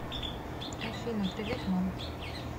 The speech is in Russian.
афина привет мам